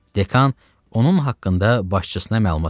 Dekan onun haqqında başçısına məlumat verdi.